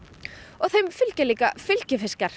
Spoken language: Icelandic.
og þeim fylgja líka fylgifiskar